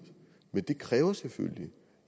men det kræver selvfølgelig